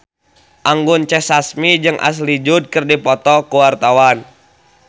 Anggun C. Sasmi jeung Ashley Judd keur dipoto ku wartawan